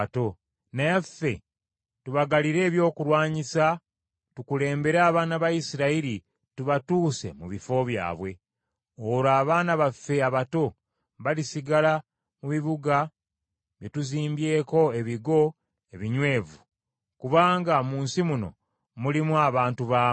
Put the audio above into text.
Naye ffe tubagalire ebyokulwanyisa, tukulembere abaana ba Isirayiri tubatuuse mu bifo byabwe. Olwo abaana baffe abato balisigala mu bibuga bye tuzimbyeko ebigo ebinywevu, kubanga mu nsi muno mulimu abantu baamu.